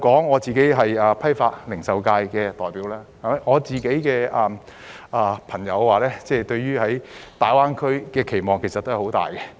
我是批發及零售界的代表，我的朋友對於大灣區的期望很大。